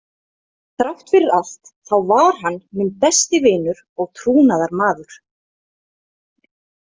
Þrátt fyrir allt þá var hann minn besti vinur og trúnaðarmaður.